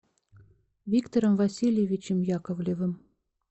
виктором васильевичем яковлевым